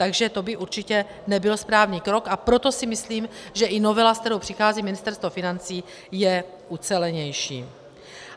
Takže to by určitě nebyl správný krok, a proto si myslím, že i novela, se kterou přichází Ministerstvo financí, je ucelenější.